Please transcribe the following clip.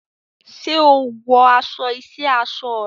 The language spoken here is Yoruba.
Ṣé o wọ aṣọ iṣẹ́ aṣọ rẹ?